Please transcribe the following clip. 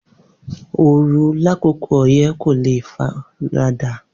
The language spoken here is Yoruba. Ooru lakoko harmattan ko le farada